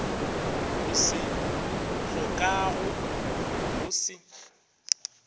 o se hlokago o se